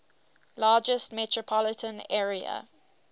largest metropolitan area